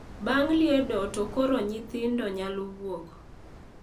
Bang` liedo to koro nyithindo nyalo wuok.